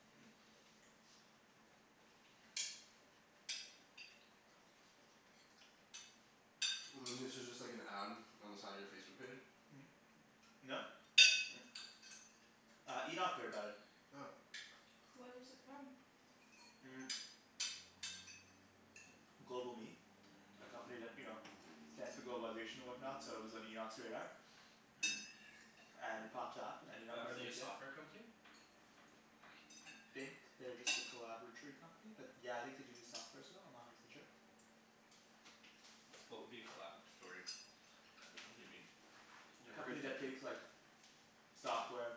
This is just like an ad on the side of your Facebook page? No. Uh, Enoch heard about it. Oh. Where is it from? GlobalMe A company that, you know globalization and whatnot so it was on Enoch's radar. And it popped up and Enoch Are was are they a like "yeah." software company? I think they're just a collaboratory company but yeah I think do do softwares though, I'm not a hundred percent sure. What would be a collaboratory Uh a company be? A Never Never company heard heard that that that term. takes term. like software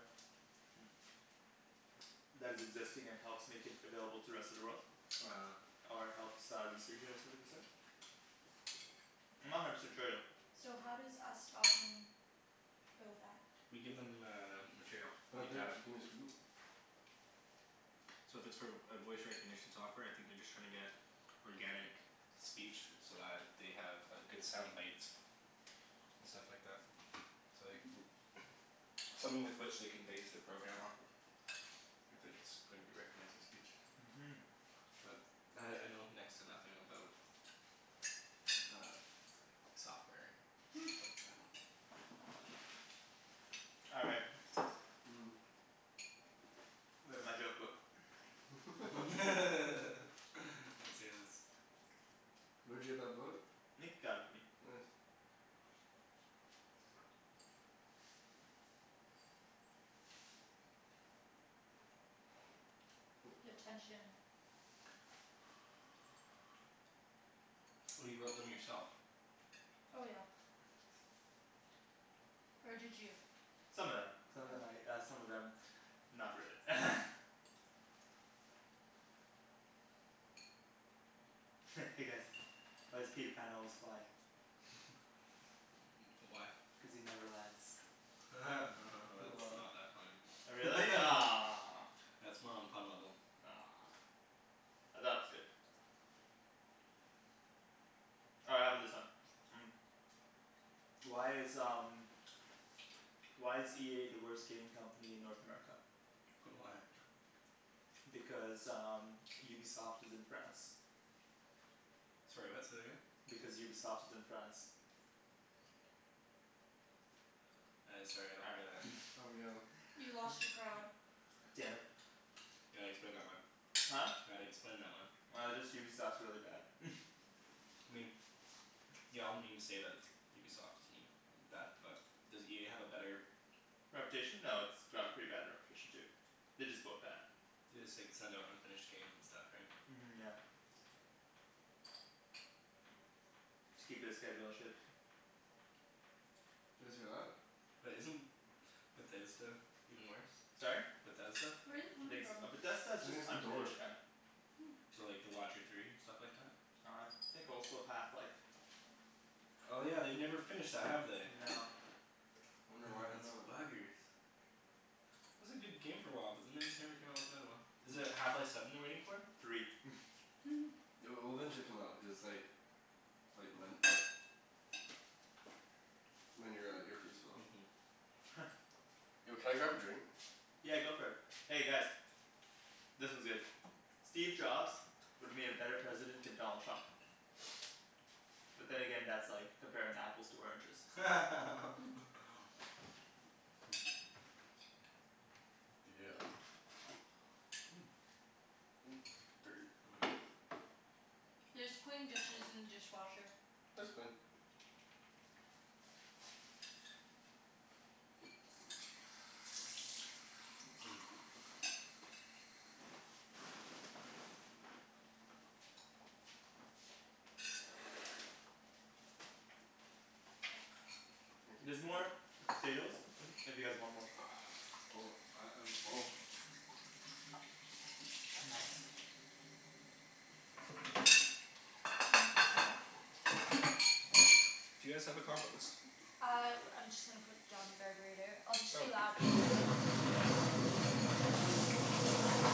that is existing and helps make it available to rest of the world. Uh Ah. Or helps uh research it or something of the sort. I'm not a hundred percent sure though. So how does us talking build that? We give them uh material. Like data. gimme a spoon? So if it's for a voice recognition software I think they're just trying to get organic speech so that they have good sound bites. And stuff like that. So like Hmm. something with which they can base their program off of. If it's going to be recognizing speech. Mhm. But I I know next to nothing about uh software and Hmm. stuff like that. All right. Mm. Where's my joke book? Let's hear this. Where'd you get that book? Nick got it for me. Nice. Oh, The sorry. tension. Oh you wrote them yourself. Oh yeah. Or did you? Some of them. Some of them Oh. I uh some of them not really Hey guys, why does Peter Pan always fly? Why? Cuz he never lands. That's Wow. not that funny. Oh really? Aw That's more on pun level. Aw I thought it was good All right how about this one? Why is um why is EA the worst gaming company in North America? Why? Because um Ubisoft is in France. Sorry what? Say that again? Because Ubisoft is in France. I sorry I All don't get it. right Oh yeah. You lost your crowd. Damn it. You gotta explain that one. Huh? Gotta explain that one. Uh just Ubisoft's really bad I mean. Yeah all the memes say that it's Ubisoft is I mean bad but does EA have a better Reputation? No, it's Yeah they have a pretty bad reputation too. They're just both bad. They just like send out unfinished games and stuff right? Mhm yeah. To keep their schedule and shit. Did you guys hear that? But isn't Bethesda even worse? Sorry? Bethesda? Where is it I coming think s- . from? But Bethesda's I just think it's the door. unfinished kinda Hmm. So like The Watcher Three and stuff like that? I think also Half Life. Oh yeah, they've never finished that, have they? No. Wonder why, no. Those buggers. It was a good game for a while but then they just never came out with another one. Is it Half Life Seven they're waiting for? Three It'll it'll eventually come out, cuz it's like Like Ryan your uh earpiece fell out. Yo can I grab a drink? Yeah, go for it. Hey guys This one's good. Steve Jobs would've made a better president than Donald Trump. But then again, that's like comparing apples to oranges. Yeah. Oop, dirty. There's clean dishes in the dishwasher. It's clean. Thank you. There's more potatoes if you guys want more. I I'm full. Nice. Do you guys have a compost? I I'm just gonna put it down the garburator. I'll just be loud Oh.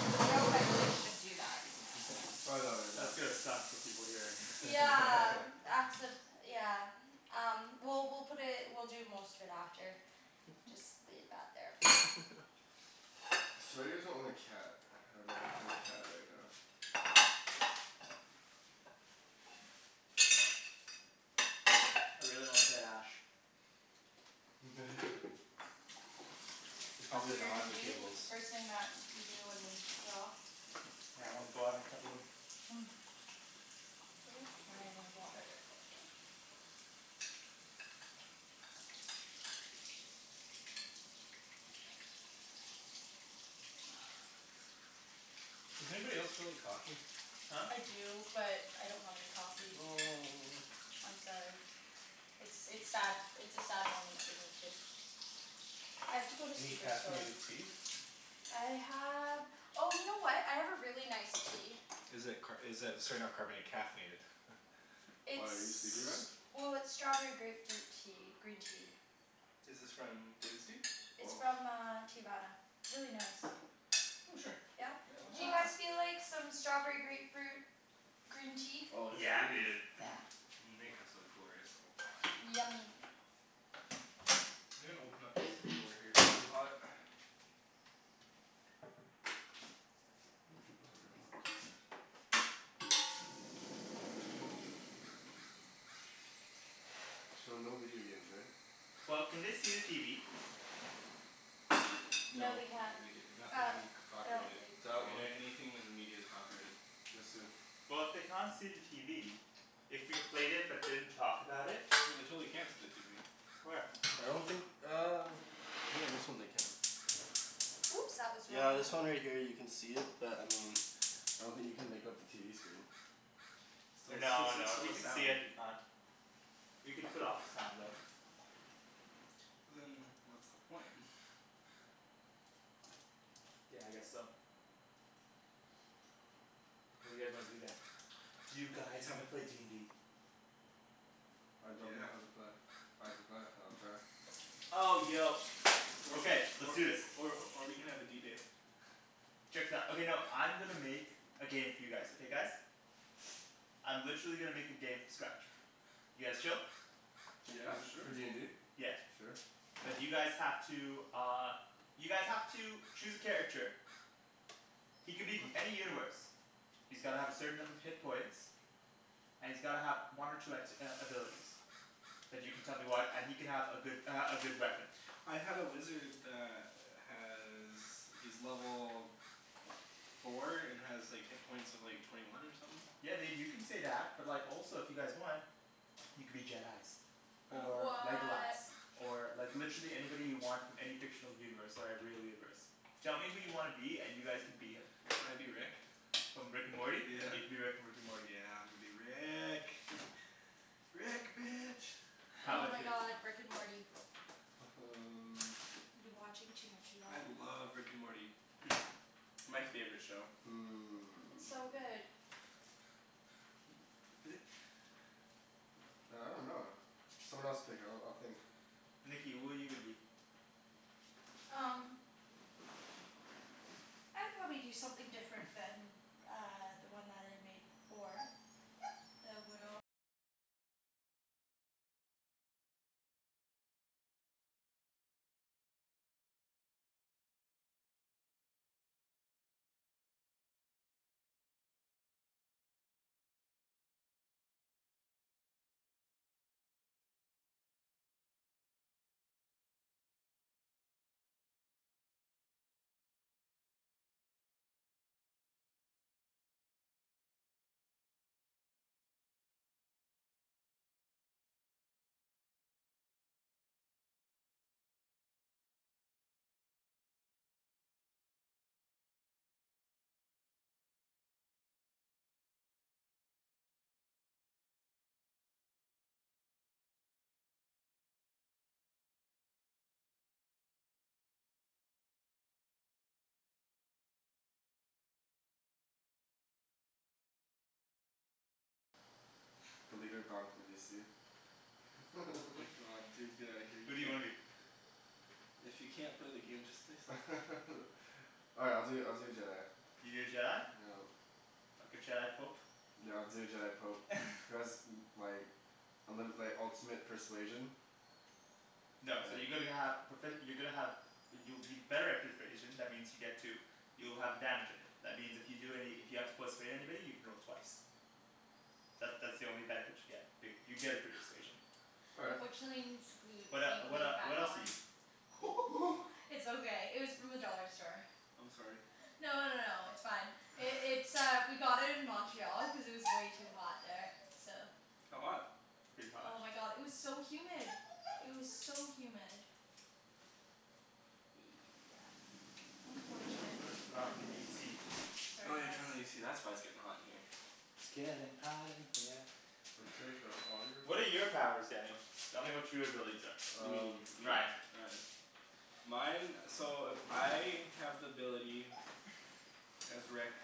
know if I should even do that. Probably That's not good, gonna no. suck for people hearing Yeah accid- yeah Um well we'll put it, we'll do most of it after. Just leave that there for now. It's too bad you guys don't own a cat. I would love to play with a cat right now. I really want a tight ash. Yeah. They're That's probably what you're not gonna the do? cables. The first thing that you do when we're off? Yeah I wanna go out and cuddle him. Hmm. Where's my water Does anybody else feel like coffee? Huh? I do but I don't have any coffee. Oh. I'm sorry. It's it's sad, it's a sad moment for me too. I have to go to Any Superstore. caffeinated tea? I have, oh you know what? I have a really nice tea. Is it car- is it sorry not carbona- caffeinated? Why, are you sleepy It's Ryan? well, it's strawberry grapefruit tea, green tea. Is this from David's Tea? It's from uh Teavana. It's really nice. Oh sure. Yeah Yeah? I'd love Do some. you guys feel like some strawberry grapefruit green tea? Oh, yes Yeah please. dude. Yeah. Make us a glorious little pot please. Yummy. I'm gonna open up this door here, it's really hot. So no video games, right? Well, can they see the TV? No No they can't. Uh. nothing c- copyrighted. That one. Any- anything in media is copyrighted. Just in. Well if they can't see the TV. If we played it but didn't talk about it. No they totally can see the TV. Where? I don't think uh I think on this one they can. Oops, that was the wrong Yeah, one. this one right here you can see it, but I mean I don't think you can make out the TV screen. But it's still No it's no. If still, you there's can see sound. it, we can't. We can put off the sound though. But then what's the point? Yeah I guess so. What do you guys wanna do then? Do you You guys wanna haven't play d n d? I don't know Yeah. how to play. I can play. I'll try. Oh yo. Or Okay, let's or do this. or or we can have a D day. Check this out. Okay no, I'm gonna make a game for you guys, okay guys? I'm literally gonna make a game from scratch. You guys chill? Yeah Is it sure. for d n d? Yeah. Sure. But you guys have to uh you guys have to choose a character. He can be from any universe. He's gotta have a certain number of hit points. And he's gotta have one or two act- uh abilities. And you can tell me Yeah. what and he can have a good uh a good weapon. I had a wizard that has, he's level four and has like hit points of like twenty one or somethin'. Yeah dude, you can say that. But like also if you guys want you can be Jedis. Or Legolas. What! Or like literally anybody you want from any fictional universe or real universe. Tell me who you wanna be and you guys can be him. Can I be Rick? From Rick and Morty? Yeah. You can be Rick from Rick and Morty. Yeah I'm gonna be Rick. Rick, bitch. How Oh 'bout Oh. my you? god. Rick and Morty. um I've been watching too much of I that love Rick and Morty. My favorite show. It's so good. Hmm Man I dunno. Someone else pick, I'll I'll think. Nikki, who are you gonna be? Um The leader of Oh my god dude, get out of here. You Who do you can't wanna be? If you can't play the game just say so. Alright I'll do I'll do a Jedi. You do a Jedi? Yeah. Like a Jedi pope? Yeah I'll do a Jedi pope. Cuz like and then like ultimate persuasion. No, so you're going to have profe- you're gonna have you'll you're better at persuasion. That means you get to you'll have advantage of it. That means if you do any, if you have to persuade anybody you can roll twice. That that's the only benefit you get, but you get a persuasion. All right. Unfortunately it needs to glue What it uh be what uh glued back what else are on. you? It's okay, it was from the dollar store. I'm sorry. No no no no, it's fine. It's uh we got it in Montreal because it was way too hot there, so How hot? Pretty hot. Oh my god, it was so humid! It was so humid. Yeah, Let's unfortunately. put on the AC. Sorry Oh yeah guys. turn on the AC, that's why it's getting hot in here. It's gettin' hot in here. So take off all your What are your clothes. powers, Daniel? Tell me what your abilities are. You Um mean me? Ryan Ryan. Mine, so I have the ability as Rick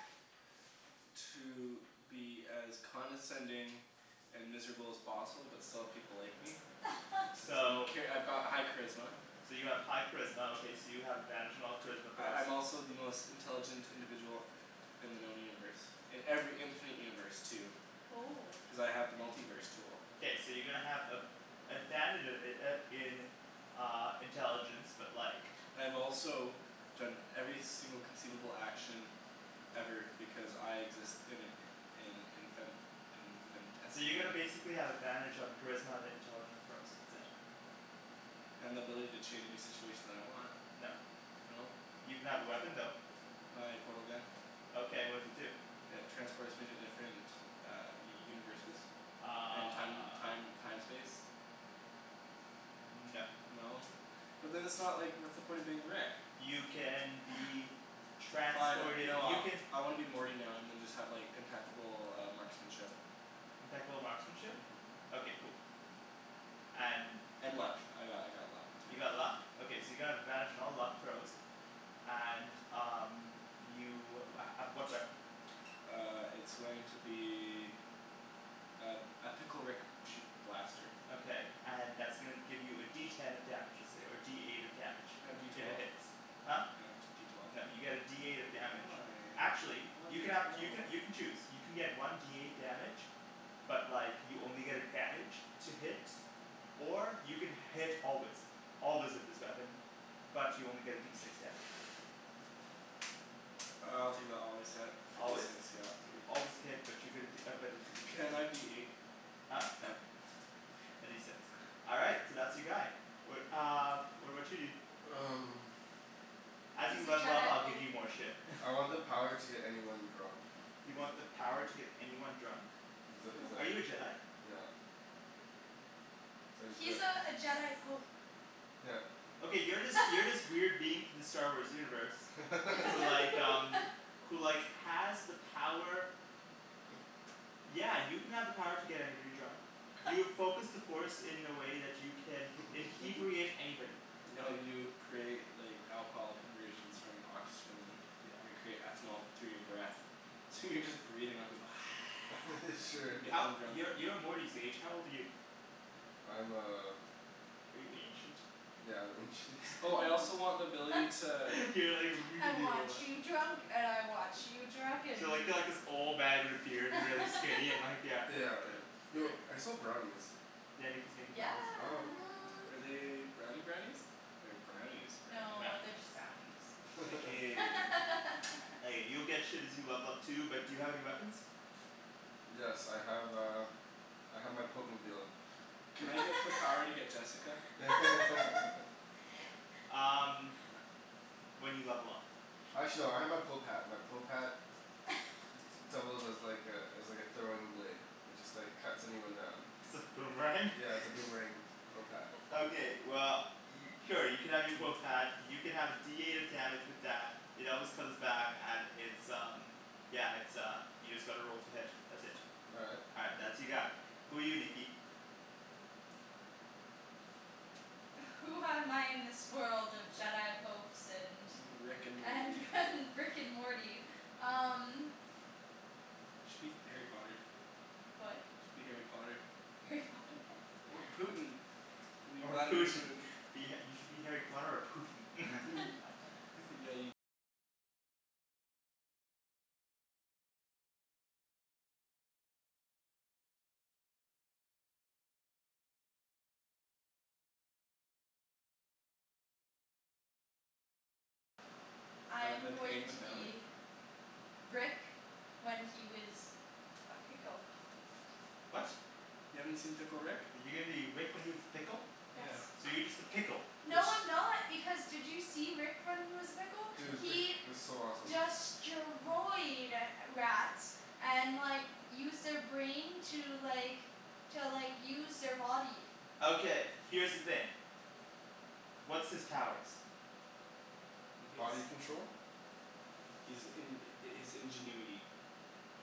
to be as condescending and miserable as possible, but still have people like me. So Okay, I've got high charisma. So you have high charisma okay, so you have advantage on all charisma corrals I'm also the most intelligent individual in the known universe. In every infinite universe too. Oh Cuz I have the multi-verse tool. K, so you're gonna have a- advantage uh uh in uh intelligence but like And I've also done every single conceivable action ever because I exist in in infin- So you're gonna infinitesimal basically have advantage on charisma and it intelligent throws. That's it. And the ability to change any situation that I want. No. No. You can have a weapon Aw though. My portal gun. Okay, what does it do? It transports me to different universes and time Uh time time space. No. No? But then it's not like, what's the point of being Rick? You can be Fine transported. no, You I can I wanna be Morty now and then just have impeccable uh marksmanship. Impeccable marksmanship? Mhm. Okay cool. And And what else? luck. I got I got luck too. You got luck? Okay so you're gonna have advantage on all luck throws. And um you uh uh what weapon? Uh it's going to be a a pickle Rick shoot blaster. Okay and that's gonna give you a D ten of damage, let's say, or a D eight of damage. Can I have D If it twelve? hits. Huh? Can I have D twelve? No, you get a D eight of damage. Why? Actually, I you wanted can to have throw. you can you can choose. You can get one D eight damage But like you only get advantage to hit or you can hit always. Always with this weapon, but you only get a D six damage. I'll take the always hit for D Always? six yep. So you always hit, but you get a D but it's a D six. Can I be eight? Huh? No. Can A D six. All right, so that's your guy. What uh what about you dude? Um As you He's a level up Jedi I'll give pope. you more shit I want the power to get anyone drunk. Is You it want the power to get anyone drunk? Is it is Are you a it, Jedi? yep So I just go He's like uh a Jedi pope. Yep. Okay, you're this you're this weird being from the Star Wars universe who like um who like has the power Yeah, you can have the power to get anybody drunk. You've focused the force in a way that you can "inhebriate" anybody. No you create like alcohol conversions from oxygen. Your Yeah. create ethanol through your breath. So you're just breathin' out you go Sure. and gettin' How, 'em drunk. you're you're Morty's age. How old are you? I'm uh Are you ancient? Yeah, I'm ancient. Oh I also want the ability to You're like "I really want old you huh drunk and I want you drunk, and You're like you you're like drunk." this old man with a beard and really skinny and like yeah. Yeah, yeah. Yo, I smell brownies. Yeah, Nikki's making Yeah. brownies. Oh what. Are they brownie brownies or brownie's brownie? No, Brownie they're brownies. just brownies. Aw, Nikki. Okay, you'll get shit as you level up too, but do you have any weapons? Yes I have uh I have my pope-mobile. Can I get the power to get Jessica? Um When you level up. K. Actually, no I have my pope hat. My pope hat d- d- doubles as like a as like a throwing blade. It just like cuts anyone down. It's a boomerang? Yeah, it's a boomerang pope hat. Okay well, y- oh you can have your pope hat. You can have a D eight of damage with that. It always comes back and it's um yeah, it's uh, you just gotta roll to hit. That's it. All right. All right, that's your guy. Who are you, Nikki? Who am I in this world of Jedi popes and Rick and Morty. and and Rick and Morty? Um Should be Harry Potter. What? Should be Harry Potter. Harry Potter? Or Putin. Be Or Vladimir Putin. Putin. You should be Harry Potter or Putin. I By the, am by paying going the to family? be Rick when he was a pickle. What? You haven't seen Pickle Rick? You're gonna be Rick when he was a pickle? Yes. Yeah. So you're just a pickle. It's No I'm not, because did you see Rick when he was a pickle? Dude, pi- He it was so awesome. destroyed rats and like used their brain to like to like use their body. Okay, here's the thing. What's his powers? Body control. He's in- his ingenuity.